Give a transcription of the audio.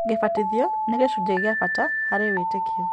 Gĩbatithio nĩ gĩcunjĩ kĩa bata harĩ wĩtĩkio